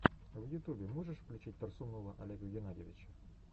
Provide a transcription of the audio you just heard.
в ютубе можешь включить торсунова олега геннадьевича